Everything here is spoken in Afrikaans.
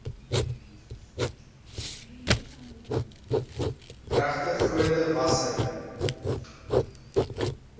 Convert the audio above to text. regte grootte wasser